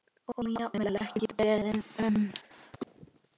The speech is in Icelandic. Og jafnvel ekki beðinn um.